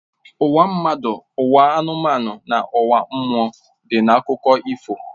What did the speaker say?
Ụwa mmadụ, ụwa anụmanụ na ụwa mmụọ dị n'akụkọ ifo